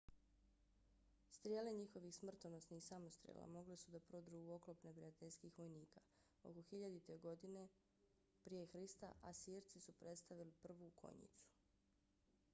strijele njihovih smrtonosnih samostrela mogle su da prodru u oklop neprijateljskih vojnika. oko 1000. godine prije hrista asirci su predstavili prvu konjicu